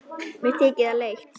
Mér þykir það leitt.